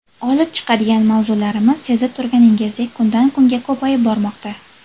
Olib chiqadigan mavzularimiz, sezib turganingizdek, kundan kunga ko‘payib bormoqda.